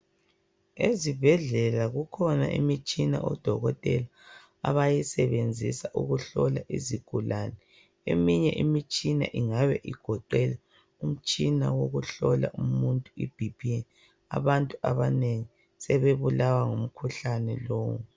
Ezibhedlela kukhona imitshina o Dokotela abayisebenzisa ukuhlola izigulane. Eminye imitshina ingabe igoqela umtshina wokuhlola umuntu iBP . Abantu abanengi sebebulawa ngumkhuhlane lo.